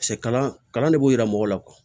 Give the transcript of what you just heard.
kalan de b'o yira mɔgɔw la